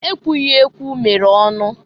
Ekwughiekwu mere ọnụ.